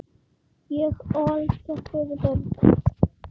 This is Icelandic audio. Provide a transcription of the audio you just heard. Ég ól þér fjögur börn.